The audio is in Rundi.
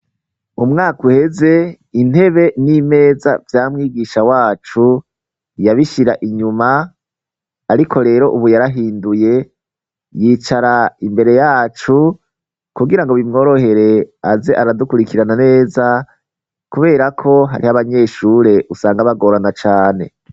umwaka uheze intebe n'imeza vya mwigisha wacu yabishira inyuma ariko rero ubu yarahinduye yicara imbere yacu kugira ngo bimworohere aze aradukurikirana neza kubera ko hariho abanyeshure usanga bagorana cane